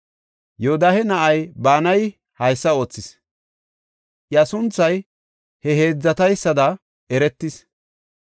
Yoodahe na7ay Banayi haysa oothis. Iya sunthay he heedzataysada eretis.